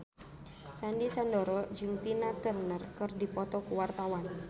Sandy Sandoro jeung Tina Turner keur dipoto ku wartawan